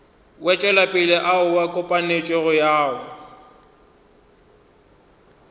wetšopele ao a kopantšwego ao